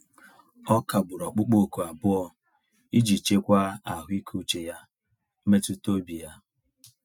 Ọ kagburu ọkpụkpọ oku abụọ iji chekwa ahụike uche ya mmetụtaobi ya.